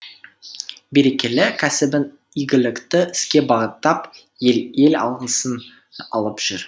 берекелі кәсібін игілікті іске бағыттап ел алғысын алып жүр